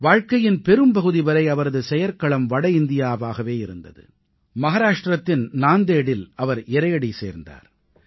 வாழ்க்கையின் பெரும்பகுதி வரை அவரது செயற்களம் வட இந்தியாவாகவே இருந்தது மஹாராஷ்ட்ரத்தின் நாந்தேடில் அவர் இறையடி சேர்ந்தார்